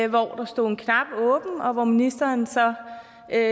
hvor der stod en knap åben og hvor ministeren så